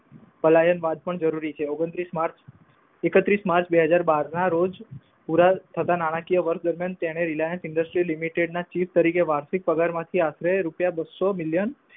ફલાયન બાદ પણ જરૂરી છે. ઓગણત્રીશ માર્ચ એકત્રીશ માર્ક બેહજાર બાર ના રોજ પુરા થતા નાણાકીય વર્ષ દરમિયાન તેણે RELIANCE EDERSUIT LIMITED ના ચીફ તરીકે વાર્ષિક પગારમાંથી આશરે રૂપિયા બસો મિલયન